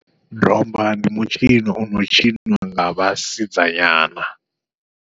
Domba ndi mutshino ono tshiniwa nga vhasidzanyana.